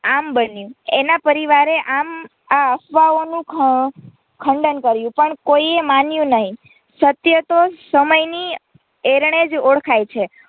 આમ બન્યું એના પરિવારે આમ આ અફવાઓનું ખંડન કર્યું પણ કોઈએ માન્યું નહીં સત્ય તો સમય ની એરણે જ ઑળખાય છે.